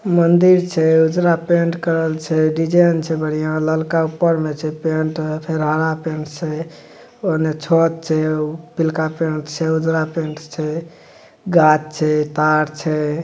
मंन्दिर छै उजरा पेंट करल छै डिजाइन छै बढ़िया ललका ऊपर में छै पेंट फिर हरा पेंट छै ओने छत छै पिलका पेंट छै उजरा पेंट छै गाछ छै तार छै।